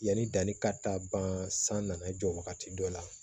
Yanni danni ka taa ban san nana jɔ wagati dɔ la